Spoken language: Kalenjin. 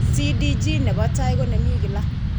CDG nebo tai ko ne mi kila.